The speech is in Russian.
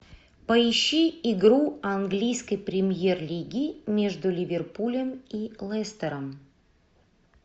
поищи игру английской премьер лиги между ливерпулем и лестером